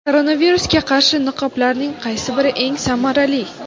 Koronavirusga qarshi niqoblarning qaysi biri eng samarali?.